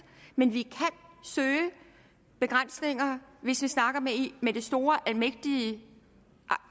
men vi kan søge begrænsninger hvis vi snakker med det store almægtige